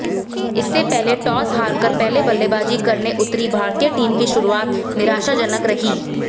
इससे पहले टॉस हारकर पहले बल्लेबाजी करने उतरी भारतीय टीम की शुरुआत निराशाजनक रही